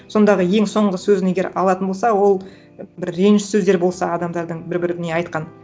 сондағы ең соңғы сөзін егер алатын болса ол бір реніш сөздер болса адамдардың бір біріне айтқан